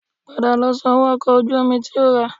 Padà lọ sanwó ọkọ̀ ojú omi tí o rà